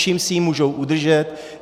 Čím si ji můžou udržet?